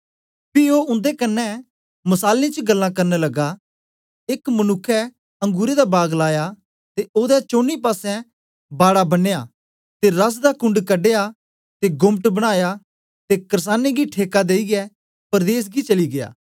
पी ओ उन्दे कन्ने मसालें च गल्लां करन लगा एक मनुक्ख अंगुरें दा बाग लाया ते ओदे चौनी पासें बाड़ा बनेया ते रस दा कुंड कढया ते गोम्मट बनाया ते कर्सानें गी ठेका देईयै परदेस गी चली गीया